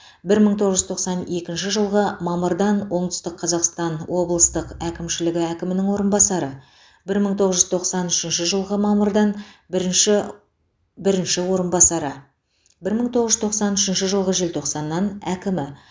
бір мың тоғыз жүз тоқсан екінші жылғы мамырдан оңтүстік қазақстан облыстық әкімшілігі әкімінің орынбасары бір мың тоғыз жүз тоқсан үшінші жылғы мамырдан бірінші бірінші орынбасары бір мың тоғыз жүз тоқсан үшінші жылғы желтоқсаннан әкімі